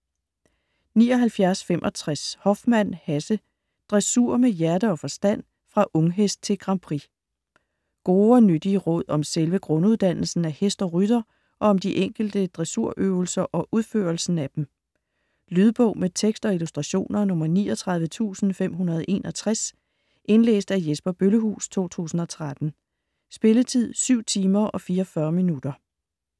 79.65 Hoffmann, Hasse: Dressur med hjerte og forstand: fra unghest til Grand Prix Gode og nyttige råd om selve grunduddannelsen af hest og rytter og om de enkelte dressurøvelser og udførelsen af dem. Lydbog med tekst og illustrationer 39561 Indlæst af Jesper Bøllehuus, 2013. Spilletid: 7 timer, 44 minutter.